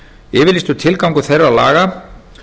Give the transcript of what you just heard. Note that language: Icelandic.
yfirlýstur tilgangur þeirra laga